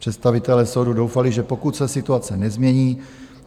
Představitelé soudů doufali, že pokud se situace nezmění...